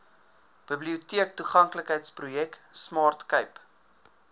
biblioteektoeganklikheidsprojek smart cape